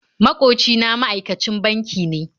Maƙoci na ma'aikacin banki ne